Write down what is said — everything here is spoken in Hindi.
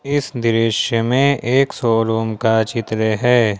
इस दृश्य में एक शोरूम का चित्र है।